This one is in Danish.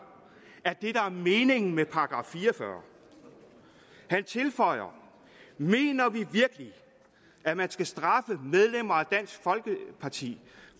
er det der er meningen med § fire og fyrre han tilføjer mener vi virkelig at man skal straffe medlemmer af dansk folkeparti